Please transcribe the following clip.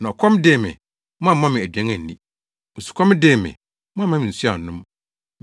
Na ɔkɔm dee me, moamma me aduan anni, osukɔm dee me, moamma me nsu annom.